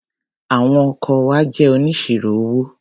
Àwọn ọkọ wa jẹ́ oníṣirò owó.